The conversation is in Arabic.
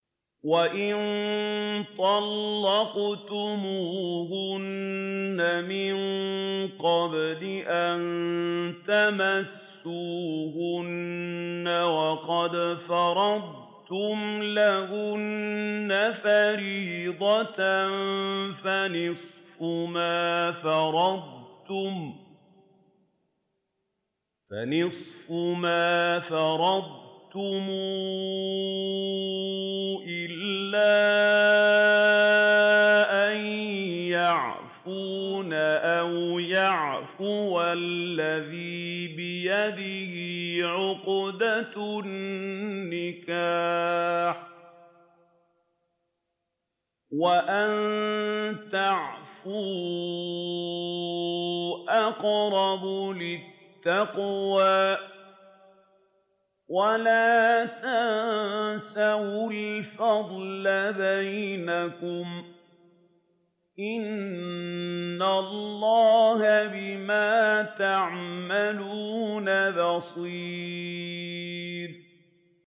وَإِن طَلَّقْتُمُوهُنَّ مِن قَبْلِ أَن تَمَسُّوهُنَّ وَقَدْ فَرَضْتُمْ لَهُنَّ فَرِيضَةً فَنِصْفُ مَا فَرَضْتُمْ إِلَّا أَن يَعْفُونَ أَوْ يَعْفُوَ الَّذِي بِيَدِهِ عُقْدَةُ النِّكَاحِ ۚ وَأَن تَعْفُوا أَقْرَبُ لِلتَّقْوَىٰ ۚ وَلَا تَنسَوُا الْفَضْلَ بَيْنَكُمْ ۚ إِنَّ اللَّهَ بِمَا تَعْمَلُونَ بَصِيرٌ